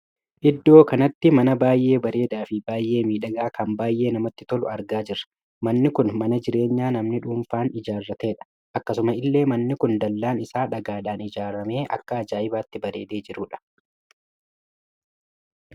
Iddoo kanatti mana baay'ee bareedaa fi baay'ee miidhagaa kan baay'ee namatti toluu argaa jirra. manni kun mana jireenyaa namni dhuunfaan ijaarrateedha. akkasuma illee manni kun dallaan isaa dhagaadhaan ijaaramee akka ajaa'ibaatti bareedee jirudha.